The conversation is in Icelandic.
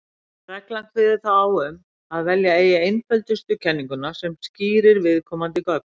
Reglan kveður þá á um að velja eigi einföldustu kenninguna sem skýrir viðkomandi gögn.